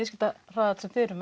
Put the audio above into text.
viðskiptahraðall sem þið eruð